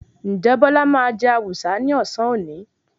Ǹjẹ́ Bọ́lá máa jẹ Awùsá ní ọ̀sán òní?